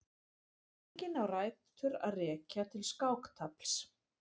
Líkingin á rætur að rekja til skáktafls.